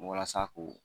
Walasa ko